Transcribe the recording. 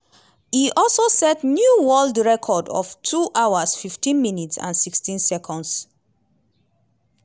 e also set new world record of two hours 15 minutes and 16 seconds.